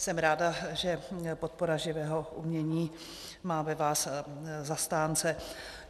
Jsem ráda, že podpora živého umění má ve vás zastánce.